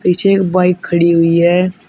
पीछे एक बाइक खड़ी हुई है।